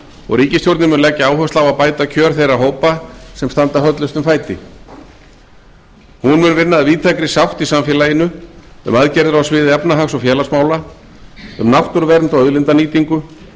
og ríkisstjórnin mun leggja áherslu á að bæta kjör þeirra hópa sem standa höllustum fæti hún mun vinna að víðtækri sátt í samfélaginu um aðgerðir á sviði efnahag og félagsmála um náttúruvernd og auðlindanýtingu